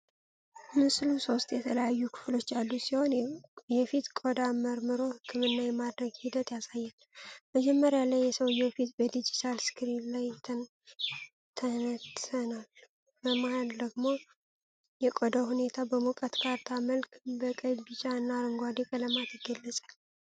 ምስሉ ሶስት የተለያዩ ክፍሎች ያሉት ሲሆን የፊት ቆዳን መርምሮ ሕክምና የማድረግ ሂደት ያሳያል። መጀመሪያ ላይ የሰውዬው ፊት በዲጂታል ስክሪን ላይ ይተነተናል። በመሃል ደግሞ የቆዳው ሁኔታ በሙቀት ካርታ መልክ በቀይ፣ ቢጫ እና አረንጓዴ ቀለማት ይገለጻል።